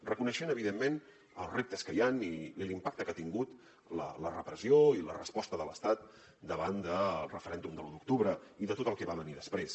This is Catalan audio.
reconeixent evidentment els reptes que hi han i l’impacte que ha tingut la repressió i la resposta de l’estat davant del referèndum de l’u d’octubre i de tot el que va venir després